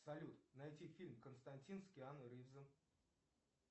салют найди фильм константин с киану ривзом